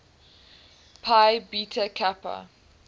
phi beta kappa